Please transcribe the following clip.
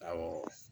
Awɔ